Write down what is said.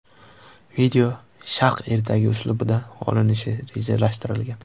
Video Sharq ertagi uslubida olinishi rejalashtirilgan.